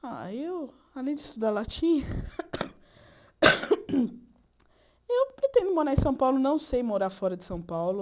Ah, eu, além de estudar latim... Eu pretendo morar em São Paulo, não sei morar fora de São Paulo.